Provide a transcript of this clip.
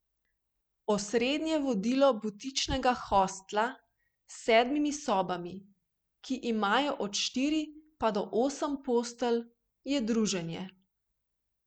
Osrednje vodilo butičnega hostla s sedmimi sobami, ki imajo od štiri pa do osem postelj, je druženje.